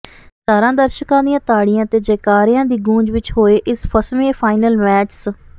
ਹਜ਼ਾਰਾਂ ਦਰਸ਼ਕਾਂ ਦੀਆਂ ਤਾੜੀਆਂ ਤੇ ਜੈਕਾਰਿਆਂ ਦੀ ਗੁੰਜ ਵਿੱਚ ਹੋਏ ਇਸ ਫਸਵੇਂ ਫਾਈਨਲ ਮੈਚ ਸ